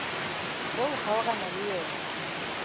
ge o kgaogana le yena